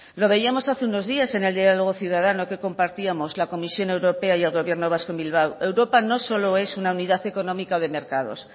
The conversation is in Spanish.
lo veíamos hace unos días en el diálogo ciudadano que compartíamos la comisión europea y el gobierno vasco en bilbao europa no solo es una unidad económica o de mercados